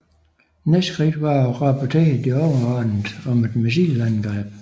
Næste skridt var at rapportere de overordnede om et missilangreb